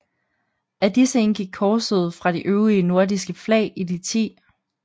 Af disse indgik korset fra de øvrige nordiske flag i de 10